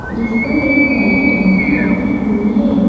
जिस पर एक काली टंकी रखी हुई है ।